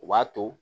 U b'a to